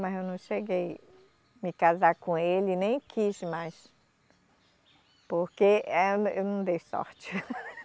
Mas eu não cheguei me casar com ele, nem quis, mais, porque eh a, eu não dei sorte.